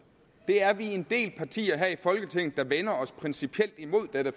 vi er en del partier her i folketinget der vender os principielt imod dette